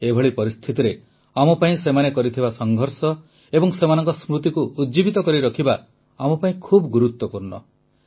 ଏଭଳି ପରିସ୍ଥିତିରେ ଆମ ପାଇଁ ସେମାନେ କରିଥିବା ସଂଘର୍ଷ ଏବଂ ସେମାନଙ୍କ ସ୍ମୃତିକୁ ଉଜ୍ଜୀବିତ କରିରଖିବା ଆମ ପାଇଁ ଖୁବ ଗୁରୁତ୍ୱପୂର୍ଣ୍ଣ